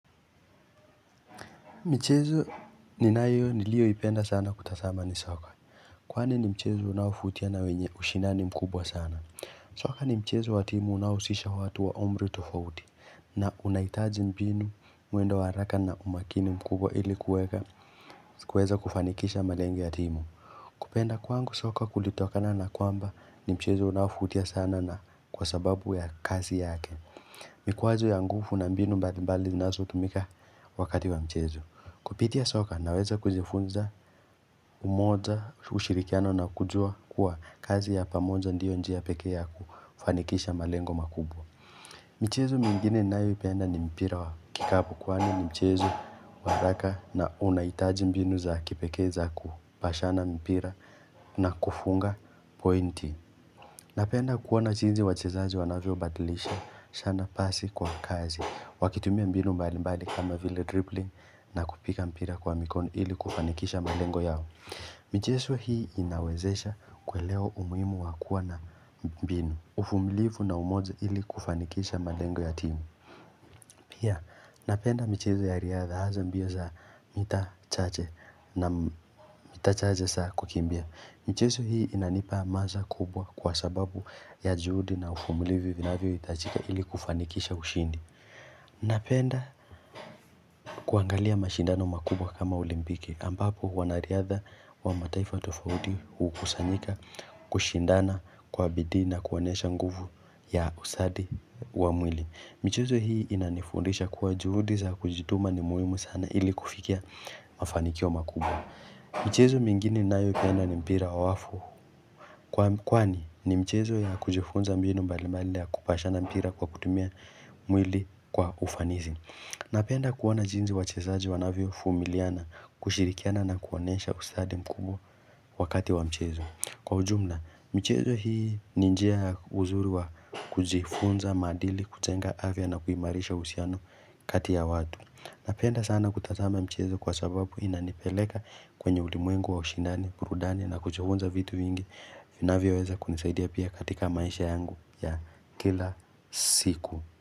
Michezo ninayo niliyoipenda sana kutazama ni soka. Kwani ni mchezo unaovutia na wenye ushinani mkubwa sana? Soka ni mchezo wa timu unaohusisha watu wa umri tofauti. Na unahitaji mbinu, mwendo wa haraka na umakini mkubwa ili kuweka kuweza kufanikisha malengo ya timu. Kupenda kwangu soka kulitokana na kwamba ni mchezo unaovutia sana na kwa sababu ya kazi yake. Mikwazo ya nguvu na mbinu mbali mbali zinazotumika wakati wa mchezo. Kupitia soka naweza kujifunza umoja ushirikiano na kujua kuwa kazi ya pamoja ndiyo njia pekee ya kufanikisha malengo makubwa. Michezo mingine ninayoipenda ni mpira wa kikapu kwani ni mchezo wa haraka na unahitaji mbinu za kipekee za kupashana mpira na kufunga pointi. Napenda kuona jinsi wachezaji wanavyobadilishana pasi kwa kazi, wakitumia mbinu mbali mbali kama vile dribbling na kupiga mpira kwa mikono ili kufanikisha malengo yao. Michezo hii inawezesha kuelewa umuhimu wa kuwa na mbinu, uvumilivu na umoja ili kufanikisha malengo ya timu. Pia napenda michezo ya riadha hasa mbio za mita chache na mita chache za kukimbia. Michezo hii inanipa hamasa kubwa kwa sababu ya juhudi na uvumulivi vinavyohitajika ili kufanikisha ushindi. Napenda kuangalia mashindano makubwa kama olimpiki ambapo wanariadha wa mataifa tufauti hukusanyika kushindana kwa bidii na kuonyesha nguvu ya ustadi wa mwili. Michezo hii inanifundisha kuwa juhudi za kujituma ni muhimu sana ili kufikia mafanikio makubwa. Michezo mingine ninayoipenda ni mpira wa wavu. Kwani ni mchezo ya kujifunza mbinu mbali mbali ya kupashana mpira kwa kutumia mwili kwa ufanisi. Napenda kuona jinsi wachezaji wanavyovumiliana kushirikiana na kuonyesha ustadi mkubwa wakati wa mchezo. Kwa ujumla, michezo hii ni njia uzuri wa kujifunza maadili, kujenga afya na kuimarisha uhusiano kati ya watu. Napenda sana kutazama michezo kwa sababu inanipeleka kwenye ulimwengu wa ushindani, burudani na kujifunza vitu vingi. Vinavyoweza kunisaidia pia katika maisha yangu ya kila siku.